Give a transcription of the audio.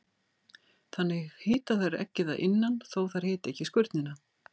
Þannig hita þær eggið að innan þó að þær hiti ekki skurnina.